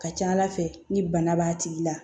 Ka ca ala fɛ ni bana b'a tigi la